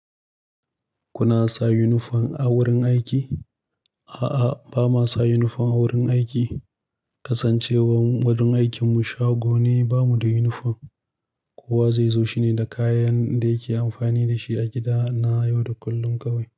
Kuna sa unifom a wurin aiki? A'a, ba ma sa yunifom a wurin aiki. Kasancewar wurin aikin mu shago ne, ba mu da yunifom. Kowa zai zo shine da kayan da yake amfani da shi a gida na yau da kullum kawai.